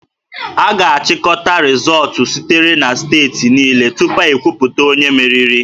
A ga-achịkọta rịzọọtụ sitere na steeti niile tupu ekwuputa onye meriri